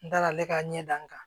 N dalen ka ɲɛ n kan